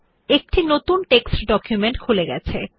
একটি নতুন পাঠ্য ডকুমেন্ট খুলে গেছে